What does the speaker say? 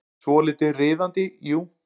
Svolítið riðandi, jú.